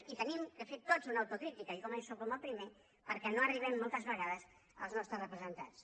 i hem de fer tots una autocrítica i començo com a primer perquè no arribem moltes vegades als nostres representats